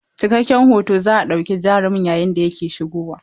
Cikakken hoto za a ɗauki jarumin yayin da yake shigowa.